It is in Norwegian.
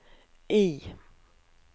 I